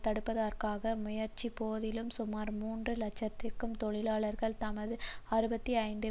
தடுப்பதற்காக முயற்சித்த போதிலும் சுமார் மூன்று இலட்சம் தொழிலாளர்கள் தமது அறுபத்தி ஐந்து